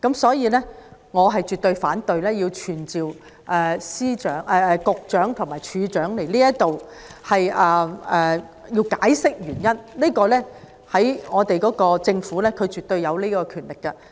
故此，我絕對反對傳召保安局局長和入境事務處處長到本會解釋有關決定的原因，因為政府絕對有權力作出該項決定。